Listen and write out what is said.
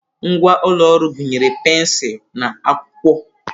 Ngwa ụlọ ọrụ gụnyere pensụl na akwụkwọ.